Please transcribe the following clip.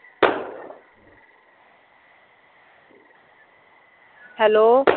hello